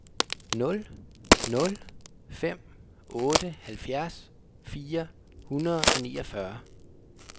nul nul fem otte halvfjerds fire hundrede og niogfyrre